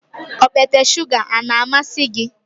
Okpete shuga na-amasị gị?